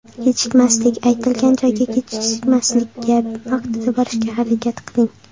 Kechikmaslik Aytilgan joyga kechikmaslikka, vaqtida borishga harakat qiling.